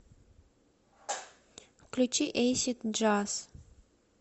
включи эйсид джаз